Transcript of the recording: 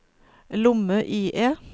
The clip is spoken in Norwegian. lomme-IE